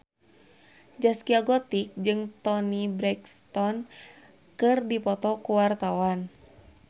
Zaskia Gotik jeung Toni Brexton keur dipoto ku wartawan